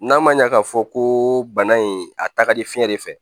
N'a ma ɲa k'a fɔ ko bana in a taa ka di fiɲɛ de fɛ